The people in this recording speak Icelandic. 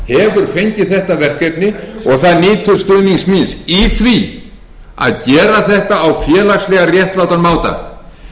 ég það nýtur stuðnings míns í því að gera þetta á félagslega réttlátan máta með því að jafna kjörin innan heilbrigðisþjónustunnar með því að standa